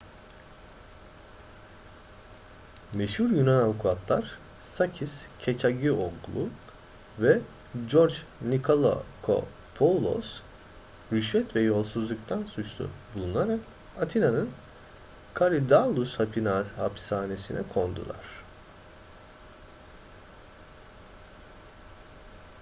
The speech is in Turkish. meşhur yunan avukatlar sakis kechagioglou ve george nikolakopoulos rüşvet ve yolsuzluktan suçlu bulunarak atina'nın korydallus hapishanesine kondular